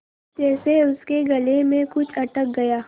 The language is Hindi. जैसे उसके गले में कुछ अटक गया